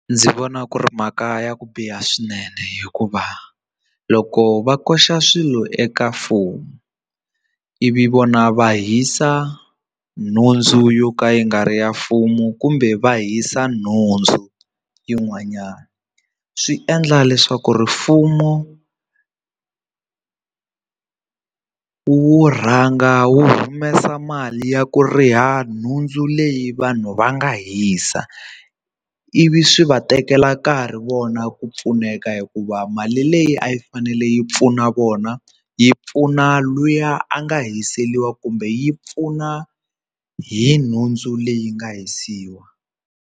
Ndzi vona ku ri mhaka ya ku biha swinene hikuva loko va koxa swilo eka mfumo ivi vona va hisa nhundzu yo ka yi nga ri ya mfumo kumbe va hisa nhundzu yin'wanyana swi endla leswaku ri mfumo wu rhanga wu humesa mali ya ku riha nhundzu leyi vanhu va nga hisa ivi swi va tekela nkarhi vona ku pfuneka hikuva mali leyi a yi fanele yi pfuna vona yi pfuna luya a nga hiseriwa kumbe yi pfuna hi nhundzu leyi nga hisiwa..